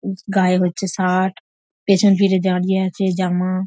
গায়ে হচ্ছে শার্ট পেছন ফিরে দাঁড়িয়ে আছে জামা--